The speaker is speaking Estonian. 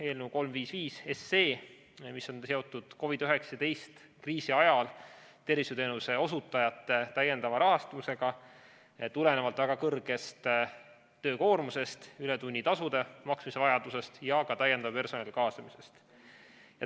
Eelnõu 355 on seotud COVID‑19 kriisi ajal tervishoiuteenuste osutajate täiendava rahastusega tulenevalt väga kõrgest töökoormusest, ületunnitasude maksmise vajadusest ja ka täiendava personali kaasamisest.